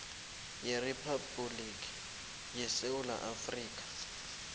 weriphabhuliki yesewula afrika